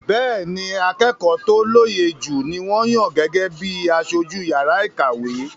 Bẹ́ẹ́ni, akẹ́kọ̀ọ́ tó lóye jù ni wọ́n yàn gẹ́gẹ́ bí i aṣojú yàrá ìkàwé.